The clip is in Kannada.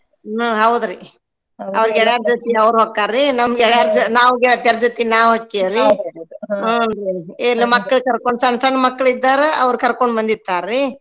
ಹಾ ಹೌದ್ರಿ ಅವ್ರ್ ಹೊಕ್ಕಾರ್ರೀ ನಮ್ ಗೆಳಯರ್ ಜ~ ನಾವ್ ಗೆಳತ್ಯಾರ್ ಜೊತೀಗ್ ನಾವ್ ಹೊಕ್ಕೇವ್ರೀ ಮಕ್ಕಳ್ ಕರ್ಕೊ~ ಸಣ್ ಸಣ್ ಮಕ್ಕಳಿದ್ದರು ಅವ್ರ್ ಕರ್ಕೊಂಡ್ ಬಂದಿರ್ತಾರ್ರಿ.